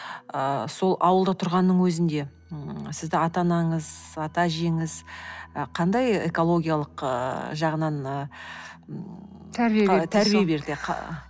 ыыы сол ауылда тұрғанның өзінде сізді ата анаңыз ата әжеңіз ы қандай экологиялық ыыы жағынан ыыы тәрбие берді дейсіз ғой тәрбие берді